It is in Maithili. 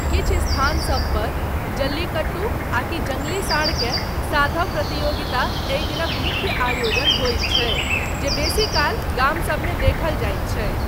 किछु स्थानसब पर, जल्लीकट्टू, आकि जङ्गली साँढ़केँ साधब प्रतियोगिता, एहि दिनक मुख्य आयोजन होइत छै जे बेसीकाल गामसबमे देखल जाइत छै।